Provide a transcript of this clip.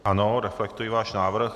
Ano, reflektuji náš návrh.